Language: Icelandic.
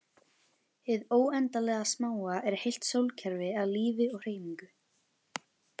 Hið óendanlega smáa er heilt sólkerfi af lífi og hreyfingu.